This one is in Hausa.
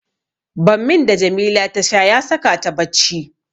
Bammin da Jamila ta sha ya saka ta bacci.